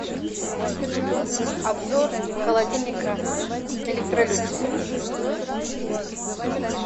обзор холодильника электролюкс